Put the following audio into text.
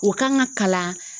O kan ka kalan.